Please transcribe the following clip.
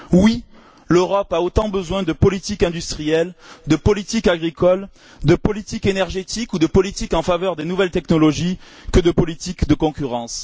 Oui, l'Europe a autant besoin de politique industrielle, de politique agricole, de politique énergétique ou de politique énergétique en faveur des nouvelles technologies que de politique de concurrence.